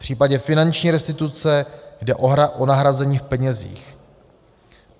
V případě finanční restituce jde o nahrazení v penězích.